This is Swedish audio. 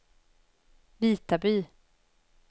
Vitaby